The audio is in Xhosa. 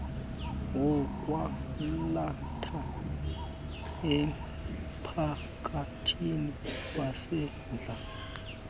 wokwalatha emphakathini wesandla